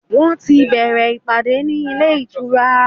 Wọ́n ti bẹ̀ẹ̀rẹ̀ ìpàdé ní ilé ìtura.